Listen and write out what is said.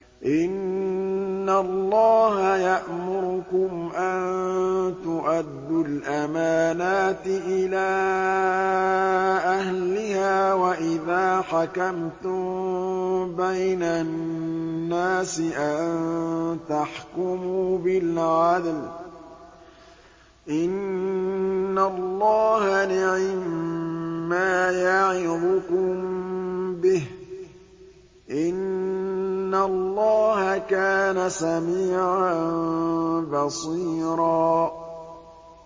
۞ إِنَّ اللَّهَ يَأْمُرُكُمْ أَن تُؤَدُّوا الْأَمَانَاتِ إِلَىٰ أَهْلِهَا وَإِذَا حَكَمْتُم بَيْنَ النَّاسِ أَن تَحْكُمُوا بِالْعَدْلِ ۚ إِنَّ اللَّهَ نِعِمَّا يَعِظُكُم بِهِ ۗ إِنَّ اللَّهَ كَانَ سَمِيعًا بَصِيرًا